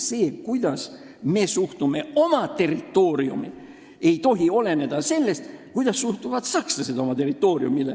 See, kuidas me suhtume oma territooriumi, ei tohi oleneda sellest, kuidas suhtuvad sakslased oma territooriumi.